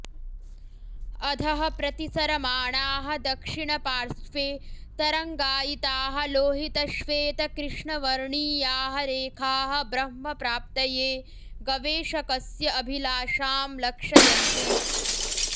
अधः प्रतिसरमाणाः दक्षिणपार्स्वे तरङ्गायिताः लोहितश्वेतकृष्णवर्णीयाः रेखाः ब्रह्म प्राप्तये गवेषकस्य अभिलाषां लक्षयन्ति